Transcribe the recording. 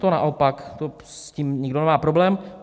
To naopak, s tím nikdo nemá problém.